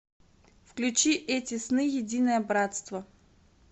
включи эти сны единое братство